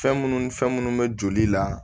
Fɛn munnu ni fɛn minnu bɛ joli la